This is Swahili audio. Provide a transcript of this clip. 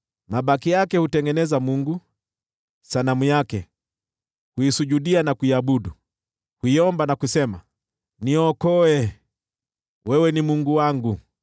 Mabaki yake hutengeneza mungu, sanamu yake; yeye huisujudia na kuiabudu. Huiomba na kusema, “Niokoe; wewe ni mungu wangu.”